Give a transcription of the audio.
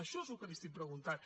això és el que li estic preguntant